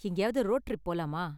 எங்கேயாவது road trip போலாமா?